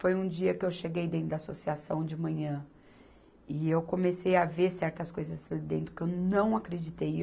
Foi um dia que eu cheguei dentro da associação de manhã e eu comecei a ver certas coisas ali dentro que eu não acreditei.